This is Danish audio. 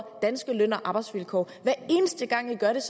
danske løn og arbejdsvilkår